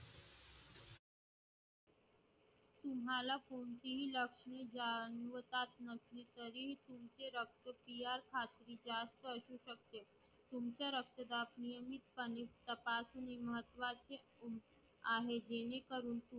तुम्हाला कोणतेही लक्षणं जाणवत नसले तरीही तुमचे रक्तक्रिया जास्त असू शकते. तुमचे रक्तदाब नियमितपणे तपासणे महत्त्वाचे आहे जेणेकरून